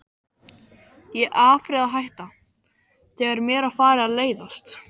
Ég afréð að hætta, þegar mér var farið að leiðast.